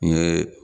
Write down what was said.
N ɲe